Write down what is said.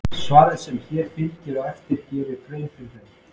Svarið sem hér fylgir á eftir gerir grein fyrir þeim.